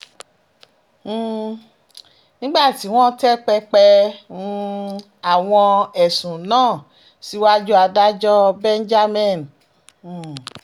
um nígbà tí wọ́n tẹ́ pẹpẹ um àwọn ẹ̀sùn náà síwájú adájọ́ benjamin h